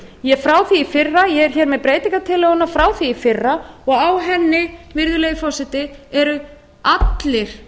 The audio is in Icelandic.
frá því í fyrra ég er hér með breytingartillöguna frá því í fyrra og á henni virðulegi forseti eru allir